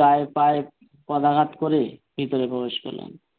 গায়ে পায়ে পদাঘাত করে ভেতরে প্রবেশ করলেন।